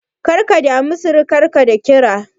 Kada ka damu sirikarka da kira.